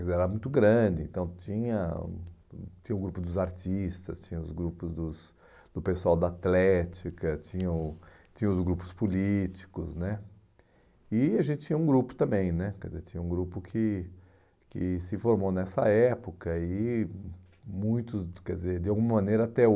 quer dizer, era muito grande, então tinha o tinha grupo dos artistas, tinha os grupos dos do pessoal da atlética, tinha o tinha os grupos políticos né e a gente tinha um grupo também né, quer dizer, tinha um grupo que que se formou nessa época e muitos, quer dizer, de alguma maneira até